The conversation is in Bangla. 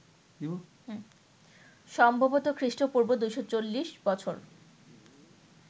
সম্ভবত খ্রীষ্ট্পূর্ব ২৪০ বছর